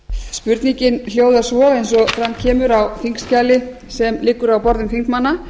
spurningin hljóðar svo eins og fram kemur á þingskjali sem liggur á borðum þingmanna